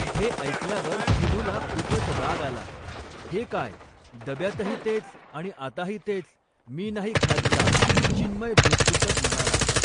हे ऐकल्यावर चिनूला खूपच राग आला, हे काय डब्यातही तेच आणि आताही तेच, मी नाही खात जा, चिन्मय धूसफूसत म्हणाला.